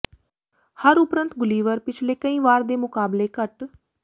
ਹਰ ਉਪਰੰਤ ਗੁਲੀਵਰ ਪਿਛਲੇ ਕਈ ਵਾਰ ਦੇ ਮੁਕਾਬਲੇ ਘੱਟ